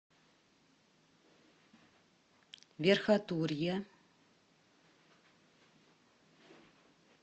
верхотурья